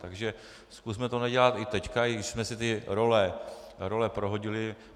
Takže zkusme to nedělat i teď, i když jsme si ty role prohodili.